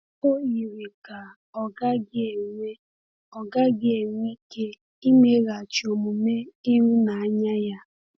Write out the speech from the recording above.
O yiri ka ọ gaghị enwe ọ gaghị enwe ike imeghachi omume n’ihu ịhụnanya ya.